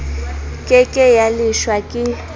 ke ke ya leshwa ke